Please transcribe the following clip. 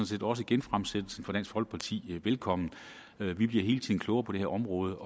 set også genfremsættelsen fra dansk folkeparti velkommen vi bliver hele tiden klogere på det her område